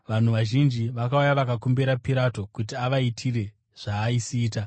Vanhu vazhinji vakauya vakakumbira Pirato kuti avaitire zvaaisiita.